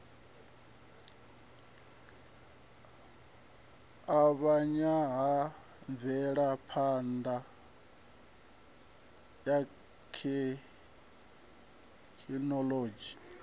avhanya ha mvelaphana ya thekhinolodzhi